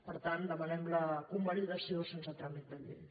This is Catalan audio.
per tant en demanem la convalidació sense tràmit de llei